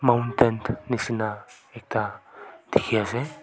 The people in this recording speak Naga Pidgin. mountain nishina ekta dikhi ase.